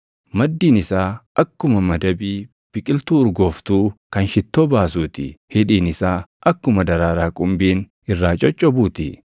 Maddiin isaa akkuma madabii biqiltuu urgooftuu kan shittoo baasuu ti. Hidhiin isaa akkuma daraaraa qumbiin irraa coccobuu ti.